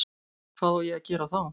Hvað á ég að gera þá?